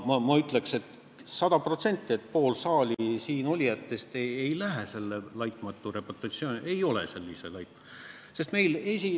Ma ütleks kindlusega sada protsenti, et pool siin saalis olijatest ei lähe selle laitmatu reputatsiooni alla, ei ole sellise reputatsiooniga.